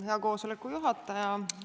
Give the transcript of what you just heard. Hea istungi juhataja!